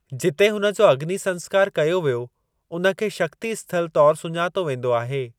जिते हुन जो अग्नि संस्‍कारु कयो वियो उन खे शक्ति स्थल तौरु सुञातो वेंदो आहे।